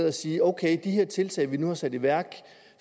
at sige om her tiltag man nu har sat i værk